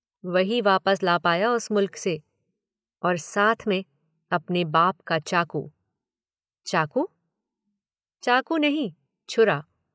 वही वापस ला पाया उस मुल्क से, और साथ में अपने बाप का चाकू। चाकू? चाकू नहीं, छुरा।